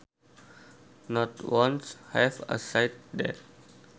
Not once have I said that